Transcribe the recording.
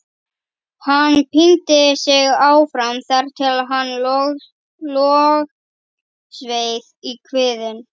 Hann píndi sig áfram þar til hann logsveið í kviðinn.